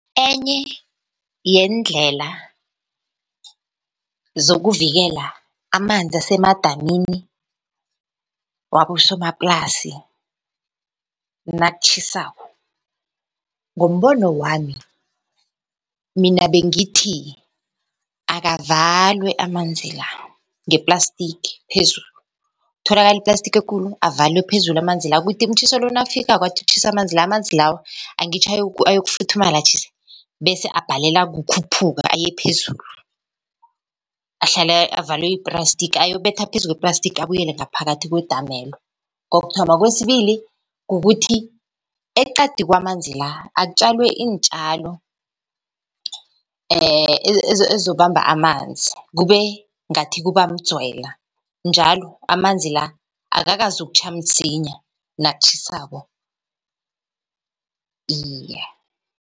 Enye yeendlela zokuvikela amanzi asemadamini wabosomaplasi nakutjhisako. Ngombono wami, mina bengithi akavalwe amanzi la ngeplastiki phezulu, kutholakale iplastiki ekulu avalwe phezulu amanzi la. Kuthi umtjhiso lo nawufikako athi utjhisa amanzi la, amanzi lawo angitjho ayokufuthumala atjhise, bese abhalelwa kukhuphuka ayephezulu. Ahlale avalwe yiplastiki ayobetha phezu kweplastiki abuyele ngaphakathi kwedamelo, kokuthoma. Kwesibili, kukuthi eqadi kwamanzi la akutjalwe iintjalo ezizokubamba amanzi kube ngathi kuba mdzwele, njalo amanzi la akakazi ukutjha msinya nakutjhisako, iye.